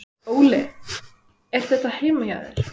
Óli: Er þetta heima hjá þér?